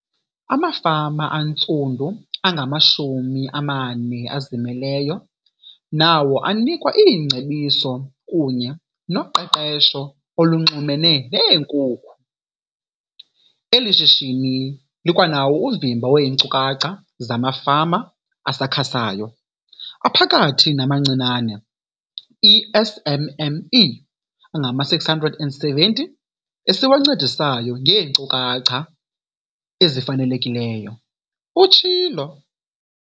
Amafama antsundu angamashumi amane azimeleyo nawo anikwa iingcebiso kunye noqeqesho olunxulumene neenkukhu. Eli shishini likwanawo uvimba weenkcukacha zamafama asakhasayo, aphakathi namancinane, i-SMME, angama-670 esiwancedisayo ngeenkcukacha ezifanelekileyo, utshilo.